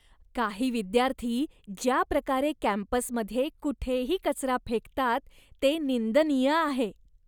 काही विद्यार्थी ज्या प्रकारे कॅम्पसमध्ये कुठेही कचरा फेकतात ते निंदनीय आहे.